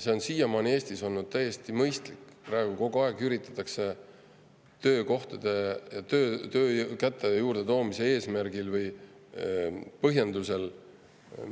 See on siiamaani Eestis olnud täiesti mõistlik, aga praegu kogu aeg üritatakse töökäte juurde toomise eesmärgil või põhjendusel